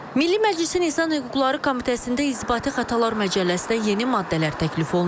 Milli Məclisin İnsan Hüquqları Komitəsində İnzibati xətalar məcəlləsinə yeni maddələr təklif olunub.